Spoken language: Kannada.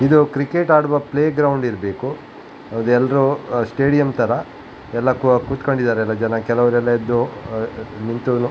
ಇದು ಕ್ರಿಕೆಟ್ ಆಡುವ ಪ್ಲೇ ಗ್ರೌಂಡ್ ಇರ್ಬೇಕು ಹೌದು ಎಲ್ರು ಸ್ಟೇಡಿಯಂ ತರ ಎಲ್ಲ ಕುತ್ಕೊಂಡಿದ್ದಾರೆ ಜನ ಎಲ್ಲ ಕೆಲವ್ರೆಲ್ಲ ಎದ್ದು ನಿಂತು --